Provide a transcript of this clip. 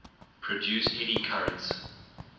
produce eddy currents